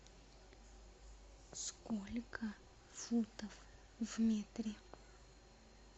сколько футов в метре